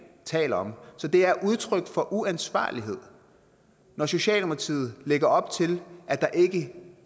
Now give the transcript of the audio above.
taler om så det er udtryk for uansvarlighed når socialdemokratiet lægger op til at der ikke